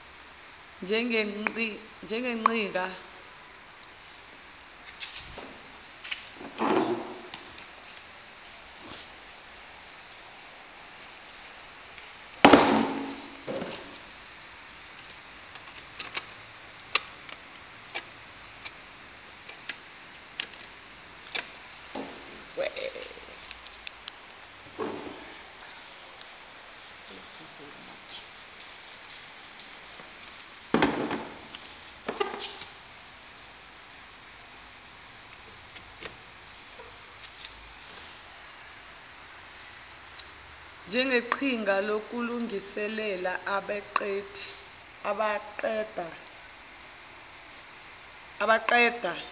njengeqhinga lokulungiselela abaqeda